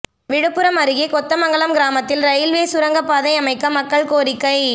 விழுப்புரம் அருகே கொத்தமங்கலம் கிராமத்தில் ரயில்வே சுரங்கப்பாதை அமைக்க மக்கள் கோரிக்கை